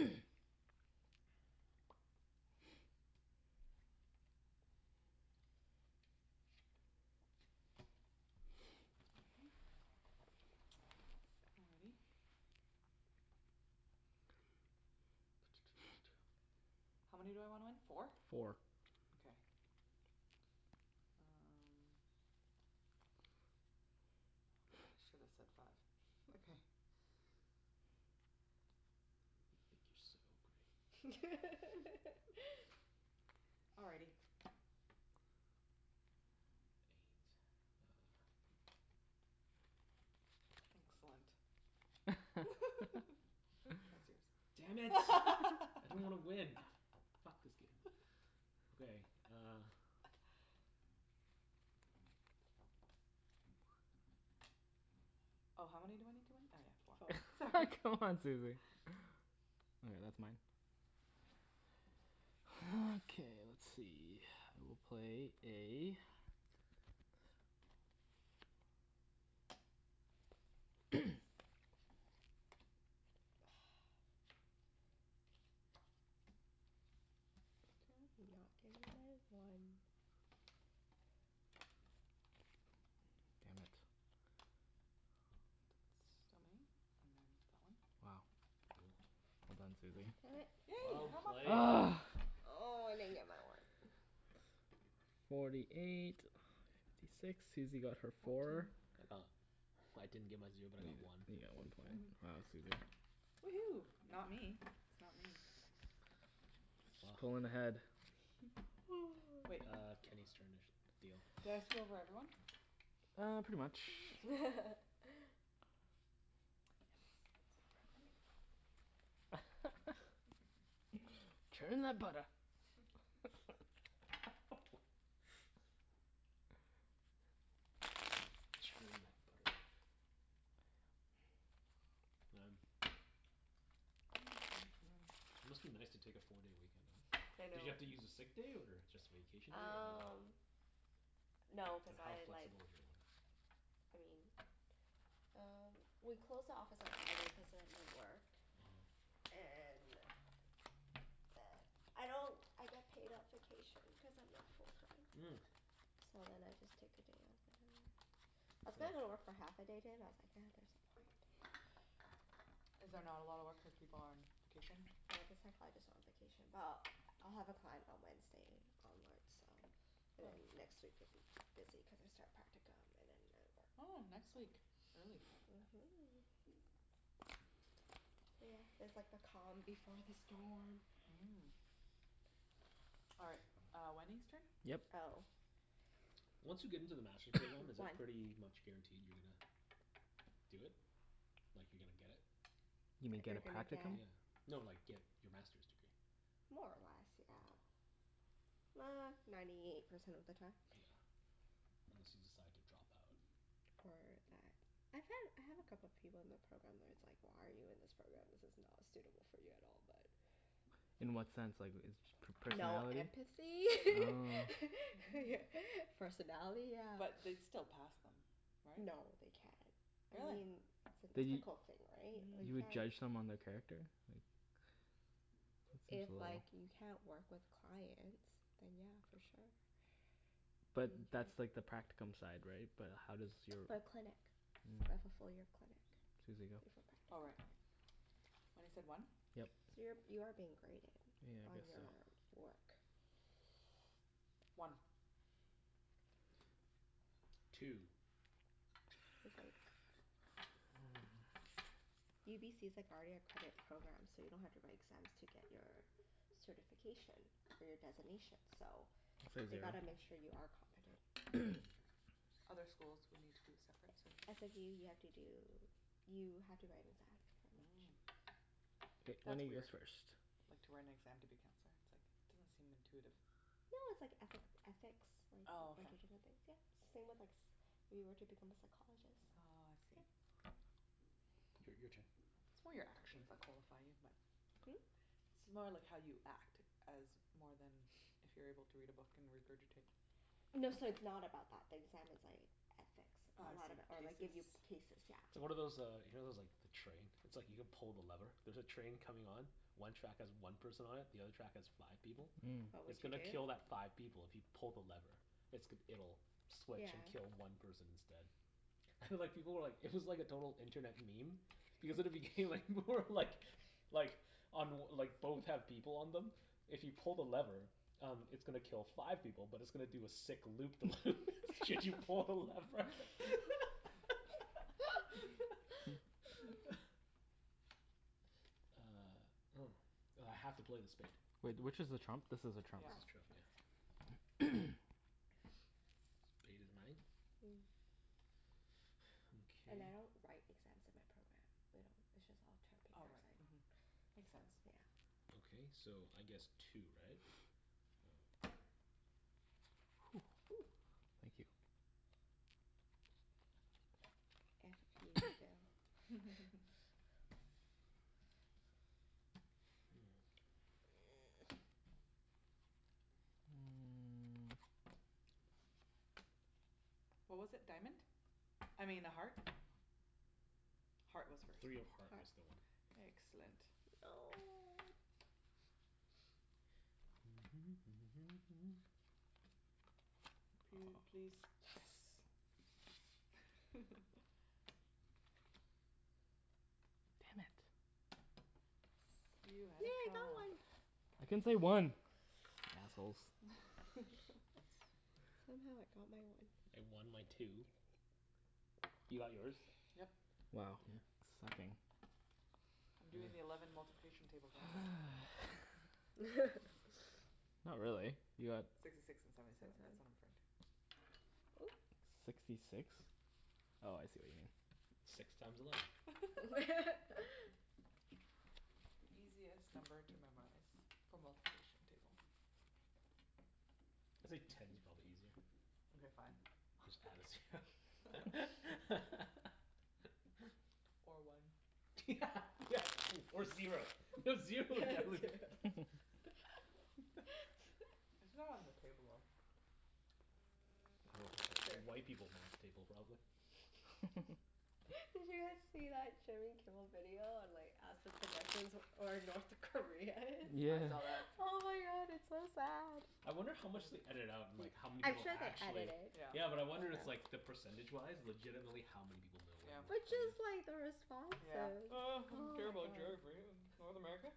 one. Alrighty. How many do I want? Four? Four. Okay. Um, should've said five You think you're so great. Alrighty. Excellent Damn it. I didn't wanna win. Ah, f- fuck this game. Okay, uh Oh how many do I need to win? Oh yeah four, sorry C'mon, Susie. All right, that's mine. Okay let's see, I will play a Did not get my one. Damn it. Wow, well done Susie. Damn it. Yay! Well played. Ugh! Oh, I didn't get my one. Forty eight, fifty six, Susie got her four. I got, I didn't get my zero but I got one. You get one Fourty four. point. Wow Susie. Woohoo, not me. It's not me. She's pullin' ahead. Uh Kenny's turn to sh- Did deal. I screw over everyone? Uh, pretty much. Churn that butter. Churn that butter. Man, it must be nice to take a four day weekend off. I Did know you have to use a sick day or just vacation day or Um, no cuz I like, I mean uh we close the office at seven cuz I was at work and I don't I get paid at vacation cuz I'm not full time. Mm. So then I just take a day off whatever. I was gonna go to work for half a day today but I was like nah, there's no point. Is there not a lot of work when people are on vacation? They have the psychologist on vacation. Well, I'll have a client on Wednesday onward so and then next week it would be busy cuz I start practicum and then I Oh, work. next week. Early. Mhm. Yeah, this is like the calm before the storm. Mm. All right, uh Wenny's turn? Yep. Oh. Once you get into the Master's program, is it One pretty much guaranteed you're gonna do it? Like you're gonna get it? You mean get You're a gonna get practicum? Yeah, no like, get your Masters degree. More or less, yeah. Uh, ninety eight percent of the time. Yeah, unless you decide to drop out. Or that, I find, I have a couple of people in the program where it's like, why are you in this program this is not suitable for you at all but In what sense like, is per- No personality? empathy Oh. Personality yeah. But they'd still pass them right? No, they can't. I Really? mean, it's an But you, ethical thing, right, like you you would can't. judge someone their character? Like If like, you can't work with clients then yeah, for sure But that's like the practicum side, right? But how does your For clinic. Mm. Right, fullfil your clinic before Susie, go. Oh right. practicum What is it, one? So you're, Yep. you are being graded Yeah I On your guess so work One Two Cuz like UBC's like already accredited program so you don't have to write exams to get your certification for your designation so I'd say They zero gotta make sure you are competent Other schools would need to, separate certificate? SFU you have to do, you have to write an exam pretty Mm much. K, That's lemme guess weird, first like to write an exam to be counselor, it's like doesn't seem intuitive. No, it's like ethic, ethics like, a bunch of different things. Yeah, it's same with like, if you were to become a psychologist. Oh I see Yep. Your your turn It's more your actions that qualify you but Hm? It's more like how you act as more than if you're able to read a book and regurgitate. No, so it's not about that, the exam is like Oh I ethics see, Or like, cases give you cases, yeah. So what are those uh you know those like the train? It's like you can pull the lever, there's a train coming on, one track has one person on it, the other track has five people. What It's would you gonna Mm do? kill that five people if you pull the lever. It's g- it'll switch Yeah. and kill one person instead. And like people were like it was like a total internet meme because at the beginning like, more like, like on like both have people on them, if you pull the lever, um it's gonna kill five people but it's gonna do a sick loop the loop should you pull the lever. Uh, oh. I have to play the spade. Wait, which is the trump? This is the That's the trump trump Mm, and I don't write exams in my program. We don't, it's just all term paper. It's like So Makes sense yeah. Ok so, I guess two, right? Woo! Thank you. Iffy Phil What was it, diamond? I mean, a heart? Heart was first. Three of heart was Heart the one. Excellent No! P- please, Yes! Damn it. You Yes, had yay a I got trump. one! I can't say one! Assholes Somehow I got my one. I won my two. You got yours? Yep. Wow, sucking. I'm doing the eleven multiplication table guys Not really. You got Sixty six and seventy seven, that's Oop! Sixty six? Oh I see what you mean. Six times eleven. The easiest number to memorize for multiplication table It's like ten's probably easier. Mkay fine. Just add a zero. Or one. Yeah yeah, or or zero. Zero would It's not on the table, though. Well, white people's math table probably. Did you guys see that Jimmy Kimmel video on like ask the pedestrians where or North Korea is? Yeah. I saw that Oh my god, it's so sad. I wonder how much they ediited out and like how many I'm people sure they edit it. actually Yeah, but I wonder it's like, the percentage wise legitimately how many people know where But North just Korea like the is? responses. Oh I don't Oh care my about god geography, North America?